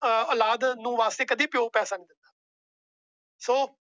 ਸੋ ਉਲਾਦ ਵਾਸਤੇ ਕਦੇ ਪਿਓ ਪੈਸੇ ਨਹੀਂ।